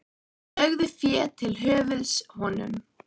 Þeir lögðu fé til höfuðs honum.